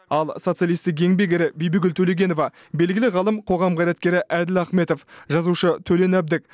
ал социалистік еңбек ері бибігүл төлегенова белгілі ғалым қоғам қайраткері әділ ахметов жазушы төлен әбдік